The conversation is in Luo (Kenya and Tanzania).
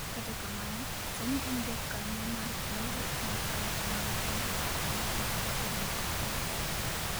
kata kamano, sani en jakanyo mar riwruok mar arita mag pinje ma ugwe gi achiel mar piny Ulaya